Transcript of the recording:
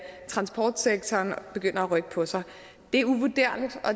transportsektoren begynder at rykke på sig